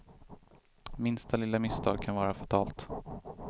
Minsta lilla misstag kan vara fatalt.